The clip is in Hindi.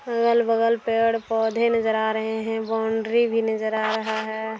अगल-बगल पेड़-पौधे नजर आ रहे है बॉन्डरी भी नजर आ रहा है।